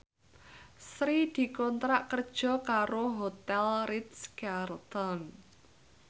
Sri dikontrak kerja karo Hotel Ritz Carlton